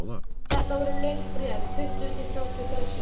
Þetta voru löng bréf, tuttugu til þrjátíu blaðsíður.